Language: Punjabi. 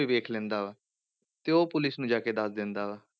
ਵੇਖ ਲੈਂਦਾ ਵਾ, ਤੇ ਉਹ ਪੁਲਿਸ ਨੂੰ ਜਾ ਕੇ ਦੱਸ ਦਿੰਦਾ ਵਾ।